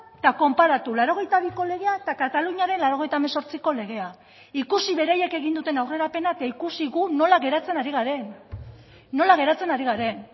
eta konparatu laurogeita biko legea eta kataluniaren laurogeita hemezortziko legea ikusi beraiek egin duten aurrerapena eta ikusi gu nola geratzen ari garen nola geratzen ari garen